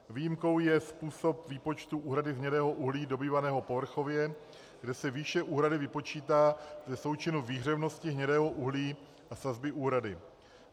Výjimkou je způsob výpočtu úhrady z hnědého uhlí dobývaného povrchově, kde se výše úhrady vypočítá ze součinu výhřevnosti hnědého uhlí a sazby úhrady.